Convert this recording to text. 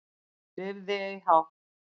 Lifð ei hátt